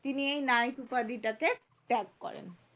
তিনি এই নাইট উপাধি টাকে ত্যাগ করেন